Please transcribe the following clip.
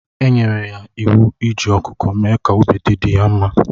Enyere ya iwu iji ọkụkọ mee ka obi dị di ya mma